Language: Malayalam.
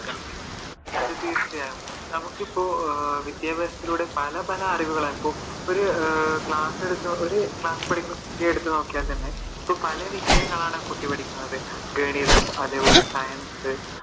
അതെ തീർച്ചയായും നമുക്കിപ്പോ വിദ്യാഭ്യാസത്തിലൂടെ പല പല അറിവുകളും ഒരു ക്ലാസ്സിൽ പഠിക്കുന്ന കുട്ടിയെ എടുത്തു നോക്കിയാൽ തന്നെ പല വിഷയങ്ങളാണ് ആ കുഗറ്റി പഠിക്കുന്നത് ഗണിതം അതേപോലെ science